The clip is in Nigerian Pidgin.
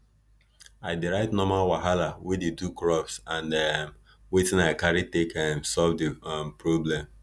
i dey write normal wahala wey dey do crops and um wetin i carry take um solve di um problem